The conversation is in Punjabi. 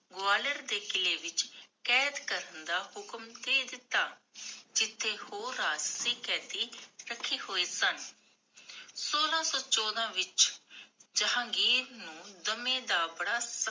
ਗਵਾਲੀਅਰ ਦੇ ਕਿੱਲੇ ਵਿਚ ਕੈਦ ਕਰਨ ਦਾ ਹੁਕੂਮ ਦੇ ਦਿੱਤਾ, ਜਿਥੇ ਹੋਰ ਰਾਸ਼੍ਤ੍ਰਿਆ ਕੈਦੀ ਕਥੇ ਹੋਏ ਸਨ ਸੋਲਾਂ ਸੋ ਚੋਦਾਂ ਵਿਚ, ਜਹਾਂਗੀਰ ਨੂੰ ਦਮੇ ਦਾ ਬੜ